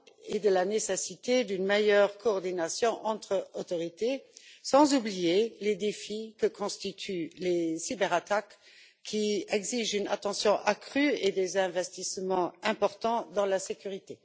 et de la nécessité d'une meilleure coordination entre autorités, sans oublier les défis que constituent les cyberattaques, qui exigent une attention accrue et des investissements importants dans la sécurité.